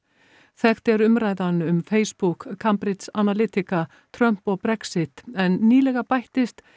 þekkt er umræðan um Facebook Cambridge Analytica Trump og Brexit en nýlega bættist